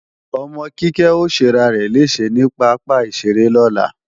Ọmọ Kíkẹ́ ó ṣẹrarẹ̀ léèṣẹ ní pápá ìṣeré lọ́la